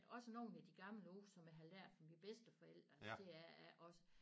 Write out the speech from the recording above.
Også nogen af de gamle ord som jeg har lært fra mine bedsteforældre så deraf også